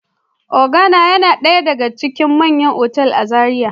Organo yana daya daga cikin manyan otal a Zaria.